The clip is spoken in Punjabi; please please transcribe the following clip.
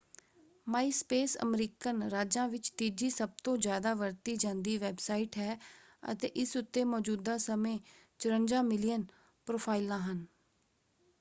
ਮਾਈਸਪੇਸ ਅਮਰੀਕਨ ਰਾਜਾਂ ਵਿੱਚ ਤੀਜੀ ਸਭਤੋਂ ਜ਼ਿਆਦਾ ਵਰਤੀ ਜਾਂਦੀ ਵੈਬਸਾਈਟ ਹੈ ਅਤੇ ਇਸ ਉੱਤੇ ਮੌਜ਼ੂਦਾ ਸਮੇਂ 54 ਮਿਲੀਅਨ ਪ੍ਰੋਫਾਈਲਾਂ ਹਨ।